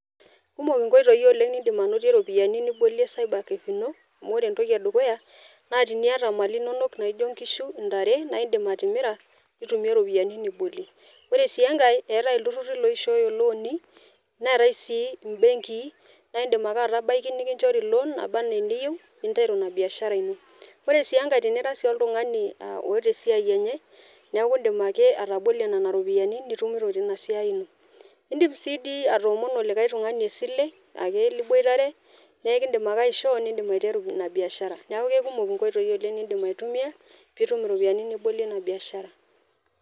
Kumok inkoitoi oleng nidim anotie impisai nibolie cyber cafe ino . Amu ore entoki eukuya naa teniata imali inonok naijo inkishu, intare , naa indim atimira , nitumie iropiyiani nibolie . Ore sii enkae , eetae iltururi loishooyo ilooni neetae sii imbenkii naa indim ake atabaiki nikinchori loan naba anaa eniyieu. Ore sii enkae tenira si oltungani oota esiai enye , niaku indim ake atabolie nena ropiyiani nitumito tina siai ino. Indim si dii atoomono likae tungani esile ake liboitare , naa ekidim ake aishoo, nindim aiteru ina biashara , niaku kekumok nkoitoi oleng ,nindim aitumia pitum iropiyiani nibolie ina biashara.